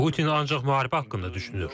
Putin ancaq müharibə haqqında düşünür.